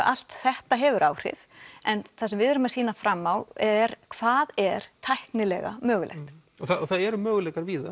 allt þetta hefur áhrif en það sem við erum að sýna fram á er hvað er tæknilega mögulegt og það eru möguleikar víða